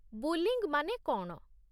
Bullying' ମାନେ କ'ଣ?